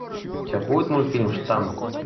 у тебя будет мультфильм штамм